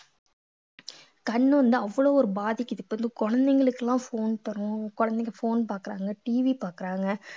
கண்ணு வந்து அவ்ளோ ஒரு பாதிக்குது இப்ப வந்து குழந்தைகளுக்கு எல்லாம் phone தரோம் குழந்தைங்க phone பாக்குறாங்க TV பாக்குறாங்க